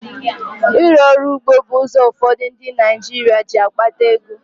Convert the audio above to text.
Ịrụ ọrụ ugbo bụ ụzọ ụfọdụ ndị Naịjirịa ji akpata ego.